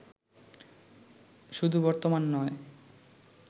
শুধু বর্তমান নয়